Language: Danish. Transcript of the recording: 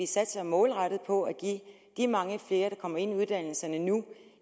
satser målrettet på at give mange flere der kommer ind i uddannelserne nu